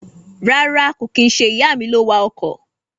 Rárá kò kín nṣe ìyàmi ló wa ọkọ̀.